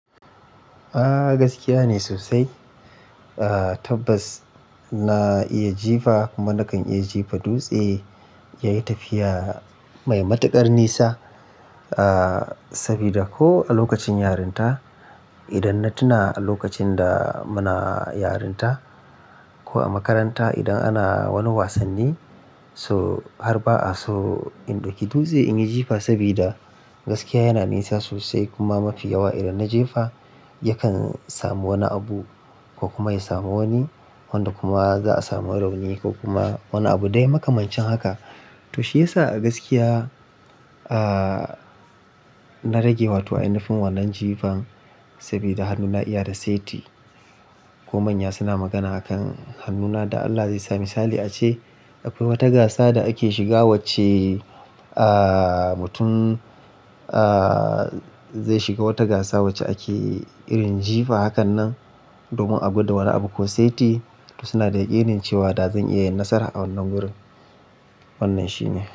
A gaskiya ne sosai. Tabbas na iya jifa kuma na kan iya jefa dutse. Yayi tafiya mai matuƙar nisa sabida ko a lokacin yarinta idan na tuna a lokacin da muna yarinta ko a makaranta idan ana wani wasanni so har ba'a so in ɗauki dutse in yi jifa sabida gaskiya yana nisa sosai kuma mafi yawa idan na jefa yakan samu wani abu ko kuma ya samu wani wanda kuma za'a samu rauni ko kuma wani abu dai makamancin haka. To shiyasa a gaskiya na rage wa to ainahim wannan jifan sabida hannuna iya da saiti ko manya suna magana akan hannuna da Allah zai sami. Misali ace akwai wata gasa da ake shiga wacce mutum zai shiga wata gasa wacce ake irin jifa hakanan domin agwada wani abu ko saiti suna da yaƙinin cewa da zan iya yin nasara a wannan wurin. Wannan shi ne.